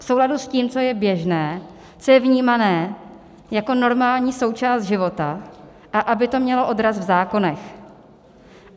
V souladu s tím, co je běžné, co je vnímané jako normální součást života, a aby to mělo odraz v zákonech.